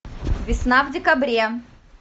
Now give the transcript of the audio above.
весна в декабре